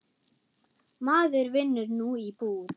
Maður vinnur nú í búð.